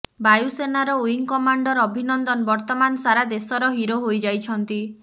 ବାୟୁସେନାର wing commander Abhinandan Varthaman ସାରା ଦେଶର ହିରୋ ହୋଇଯାଇଛନ୍ତି